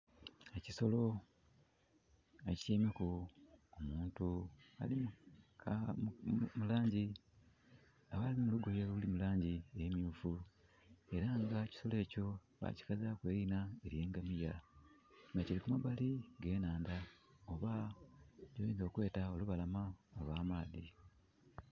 Ekiisolo ekityaimeku omuntu ali mulugoye oluli mulangi emyufu era nga ekisolo ekyo bakikazaku erina eryengamiya nga kili kumbali oghe nhandha oba kyoyinza okweta olubalama olwa amaadhi.